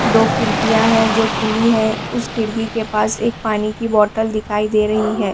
दो खिड़कियाँ हैं जो खुली हैं उस खिड़की के पास एक पानी की बोटल दिखाई दे रही है।